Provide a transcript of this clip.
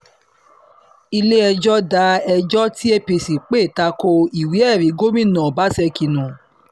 ilé-ẹjọ́ da ẹjọ́ tí apc pè ta ko ìwé-ẹ̀rí gómìnà ọbaṣẹ́kí nù